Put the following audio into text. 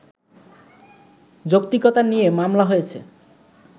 যৌক্তিকতা নিয়ে মামলা হয়েছে